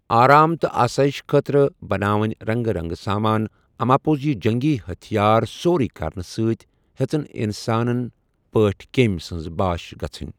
آرام تہٕ آسٲیِش خٲطرٕ بَنٲوِنۍ رنٛگہِ رنٛگہِ سامان اَماپوٚز یہِ جنگی ہتھیار سورُے کَرنہٕ سۭتۍ ہیٚژٕن اِنسانَن پٲٹھۍ کیٚم سٕنٛز باش گژھٕنۍ۔